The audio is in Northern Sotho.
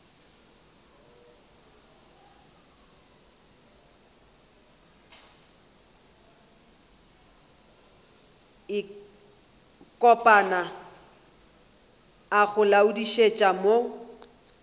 kopana a go laodišetša mo